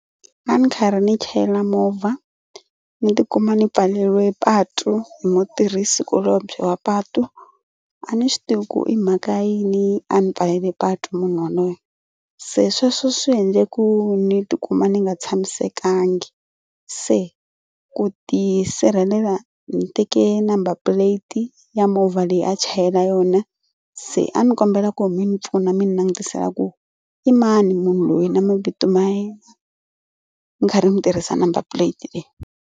A ni karhi ndzi chayela movha ni tikuma ni pfaleriwe patu hi mutirhisi kulobye wa patu a ni swi tivi ku i mhaka ya yini a ni pfalele patu munhu yaloye se sweswo swi endle ku ni tikuma ni nga tshamisekanga. Se ku tisirhelela ni teke number plate ya movha leyi a chayela yona se a ni kombela ku mi ni pfuna mi ni langutisela ku i mani munhu loyi na mavito ma yena mi karhi mi tirhisa number plate leyi.